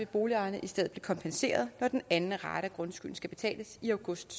boligejerne i stedet blive kompenseret når den anden rate af grundskylden skal betales i august